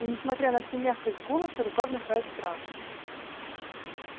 и несмотря на всю мягкость голоса рука внушает страх